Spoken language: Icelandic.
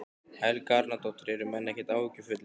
Helga Arnardóttir: Eru menn ekkert áhyggjufullir?